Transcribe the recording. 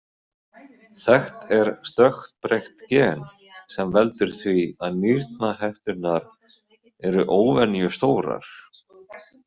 Þekkt er stökkbreytt gen sem veldur því að nýrnahetturnar eru óvenjustórar.